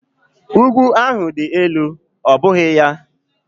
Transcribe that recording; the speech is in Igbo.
Ugwu ahụ dị elu, ọ́ bụghị ya?